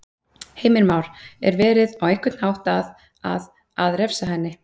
Heimir Már: Er verið, á einhvern hátt að, að, að refsa henni?